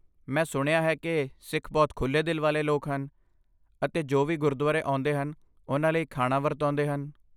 ਮੈਂ ਸੁਣਿਆ ਹੈ ਕਿ ਸਿੱਖ ਬਹੁਤ ਖੁੱਲ੍ਹੇ ਦਿਲ ਵਾਲੇ ਲੋਕ ਹਨ, ਅਤੇ ਜੋ ਵੀ ਗੁਰਦੁਆਰੇ ਆਉਂਦੇ ਹਨ, ਉਨ੍ਹਾਂ ਲਈ ਖਾਣਾ ਵਰਤਾਉਂਦੇ ਹਨ।